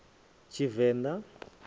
tshivenḓa